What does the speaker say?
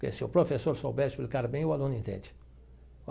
Porque se o professor souber explicar bem, o aluno entende.